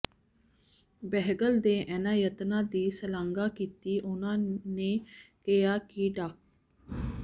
ਬਹਿਗਲ ਦੇ ਇਹਨਾਂ ਯਤਨਾਂ ਦੀ ਸ਼ਲਾਘਾ ਕੀਤੀ ਉਹਨਾਂ ਕਿਹਾ ਕਿ ਡਾ